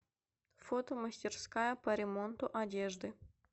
фото мастерская по ремонту одежды